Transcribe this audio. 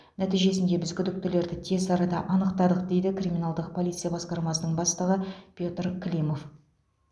нәтижесінде біз күдіктілерді тез арада анықтадық дейді криминалдық полиция басқармасының бастығы петр климов